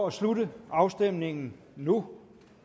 at slutte afstemningen nu